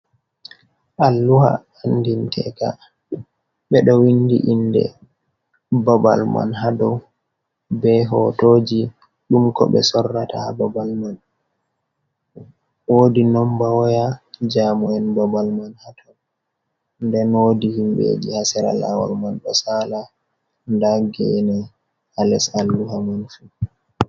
Alluha andinteka ɓe ɗo windi inde babal man haa dow, be hotoji ɗum ko ɓe sorrata haa babal man, wodi nomba woya jamu'en babal man haa to, den wodi himɓeji haa sera lawol man ɗo sala, nda gene haa les alluha mun fu.